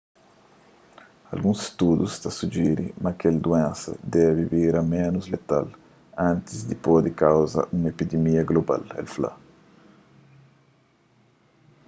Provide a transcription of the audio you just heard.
alguns studus ta sujiri ma kel duénsa debe bira ménus letal antis di pode kauza un epidimia global el fla